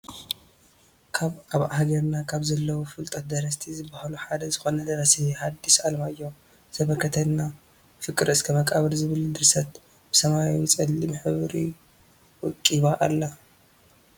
ካብ ኣብ ሃረግና ካብ ዘለው ፍሉጣት ደረስቲ ዝብሃሉ ሓደ ዝኮነ ደራሲ ሀዲስ ዓለማየሁ ዘበረከተልና ፍር እስከ መቃብር ዝብል ድርሰት ብሰማያዊ ፀሊም ሕብሪ ወቂባ ኣላ።